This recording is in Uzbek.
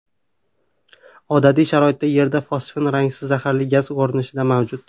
Odatiy sharoitda Yerda fosfin rangsiz zaharli gaz ko‘rinishida mavjud.